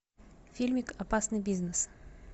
фильмик опасный бизнес